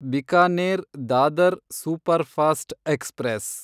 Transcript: Bikaner Dadar superfast express